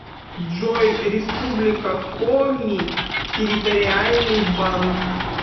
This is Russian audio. джой республика коми территориальный банк